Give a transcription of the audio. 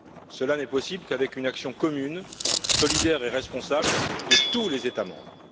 Cela n'est possible qu'avec une action commune, solidaire et responsable de tous les États membres.